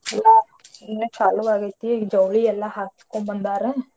ಎಲ್ಲಾ ಇನ್ನ ಚಾಲುವಾಗೆತಿ ಜವಳಿ ಎಲ್ಲಾ ಹಾಕಸ್ಕೋಂಬಂದಾರ.